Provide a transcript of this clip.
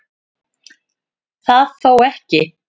Það þó ekki